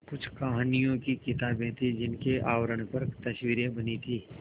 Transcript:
कुछ कहानियों की किताबें थीं जिनके आवरण पर तस्वीरें बनी थीं